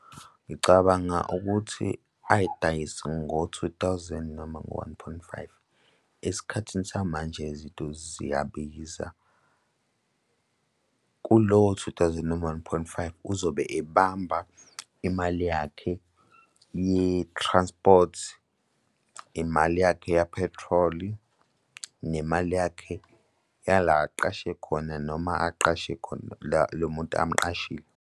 Ngicabanga ukuthi ayidayise ngo-two thousand noma ngo-one point five. Esikhathini samanje, izinto ziyabiza. Kulowo-two thousand noma u-one point five uzobe ebamba imali yakhe ye-transport, imali yakhe yaphethroli nemali yakhe yala aqashe khona, noma aqashe khona lo muntu amqashile.